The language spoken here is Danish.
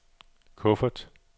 kuffert